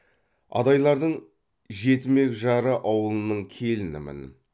адайлардың жетімек жары ауылының келінімін